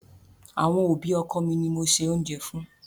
Àwọn òbí ọkọ mi ni mo se oúnjẹ fún.